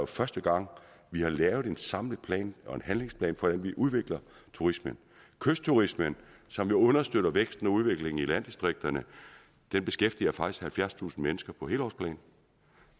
første gang vi har lavet en samlet plan en handlingsplan for at udvikle turismen kystturismen som jo understøtter væksten og udviklingen i landdistrikterne beskæftiger faktisk halvfjerdstusind mennesker på helårsplan